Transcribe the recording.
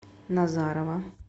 назарово